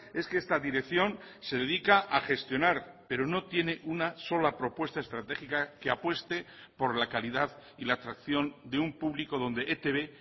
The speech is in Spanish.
es que esta dirección se dedica a gestionar pero no tiene una sola propuesta estratégica que apueste por la calidad y la atracción de un público donde etb